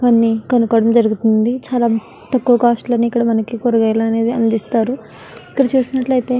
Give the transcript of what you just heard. కొన్ని కొనుకోవడం జరుగుతుంది చాల తక్కువ కాస్ట్ లోనే ఇక్కడ మనకి కూరగాయలు అనేవి అందిస్తారు ఇక్కడ చూసినట్లు అయతె --